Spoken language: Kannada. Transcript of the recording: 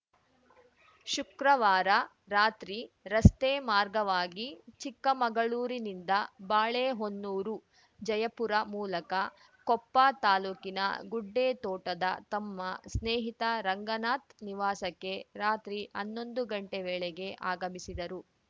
ಶುಕ್ರವಾರ ರಾತ್ರಿ ರಸ್ತೆ ಮಾರ್ಗವಾಗಿ ಚಿಕ್ಕಮಗಳೂರಿನಿಂದ ಬಾಳೆಹೊನ್ನೂರು ಜಯಪುರ ಮೂಲಕ ಕೊಪ್ಪ ತಾಲೂಕಿನ ಗುಡ್ಡೇತೋಟದ ತಮ್ಮ ಸ್ನೇಹಿತ ರಂಗನಾಥ್‌ ನಿವಾಸಕ್ಕೆ ರಾತ್ರಿ ಹನ್ನೊಂದು ಗಂಟೆ ವೇಳೆಗೆ ಆಗಮಿಸಿದರು